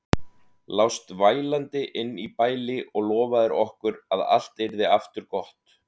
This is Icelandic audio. Lást vælandi inni í bæli og lofaðir okkur að allt yrði aftur gott.